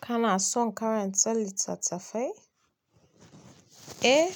Kana son karanta littattafai? Eh,